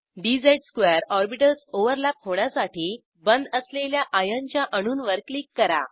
dz2 orbitals overlap होण्यासाठी बंध असलेल्या आयर्नच्या अणूंवर क्लिक करा